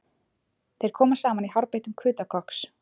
Þeir koma saman í hárbeittum kuta kokks